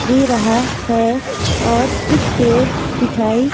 दे रहा है और कुछ पेड़ दिखाई--